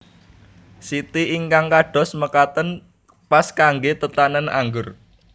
Siti ingkang kados mekaten pas kanggé tetanen anggur